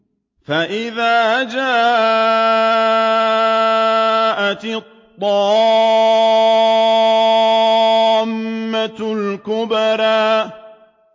فَإِذَا جَاءَتِ الطَّامَّةُ الْكُبْرَىٰ